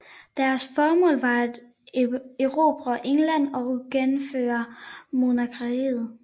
Deres formål var at erobre England og genindføre monarkiet